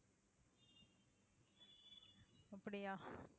அப்படியா